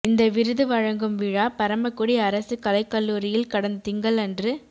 இந்த விருது வழங்கும் விழா பரமக்குடி அரசு கலைக்கல்லூரியில் கடந்த திங்களன்று